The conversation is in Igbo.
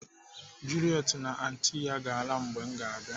Juliet na anti ya ga-ala mgbe m ga-abịa.